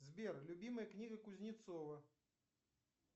сбер любимая книга кузнецова